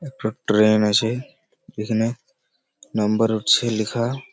একটা ট্রেন আছে এখানে নাম্বার উঠছে লেখা ।